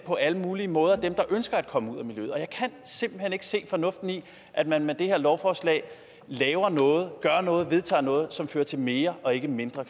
på alle mulige måder hjælper ønsker at komme ud af miljøet jeg kan simpelt hen ikke se fornuften i at man med det her lovforslag vedtager noget som fører til mere og ikke mindre